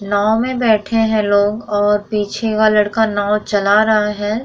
नाव में बैठे हैं लोग और पीछे का लड़का नाव चला रहा है।